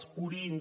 els purins